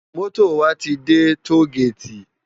Moto wá ti dè tógéti